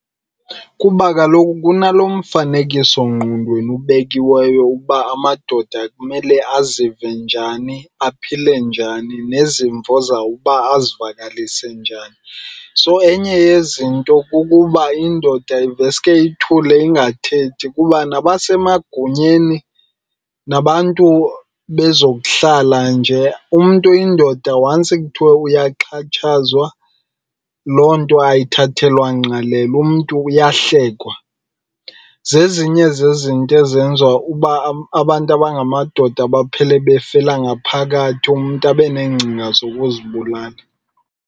Kuba kaloku kunalo mfanekisongqondweni ubekiweyo uba amadoda kumele azive njani, aphile njani nezimvo zawo ukuba azivakalise njani. So enye yezinto kukuba indoda iveske ithule ingathethi kuba nabasemagunyeni nabantu bezokuhlala nje umntu oyindoda once kuthiwe uyaxhatshazwa, loo nto ayithathelwa ngqalelo umntu uyawuhlekwa. Zezinye zezinto ezenza uba abantu abangamadoda baphele befela ngaphakathi, umntu abe neengcinga zokuzibulala.